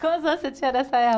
Quais anos você tinha nessa época?